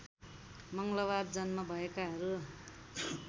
मङ्गलबार जन्म भएकाहरू